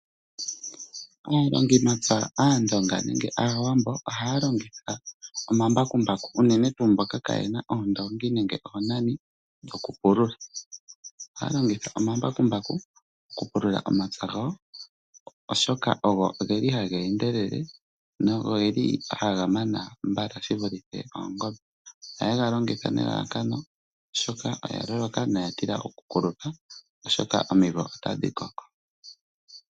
Aalongimapya Aandonga nenge Aawambo ohaya longitha omambakumbaku unene tuu mboka ka ye na oondongi nenge oonani dhokupulula. Ohaya longitha omambakumbaku okupulula omapya gawo oshoka ogo geli haga endelele nogeli ha gamana mbala shi vulithe oongombe. Ohaye ga longitha nelalakano oshoka oya loloka noya tila oku kulupa oshoka omimvo otadhi koko.